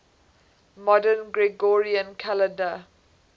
modern gregorian calendar